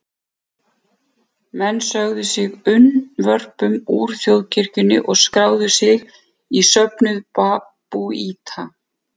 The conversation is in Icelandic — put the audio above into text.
Menn sögðu sig unnvörpum úr þjóðkirkjunni og skráðu sig í söfnuð babúíta.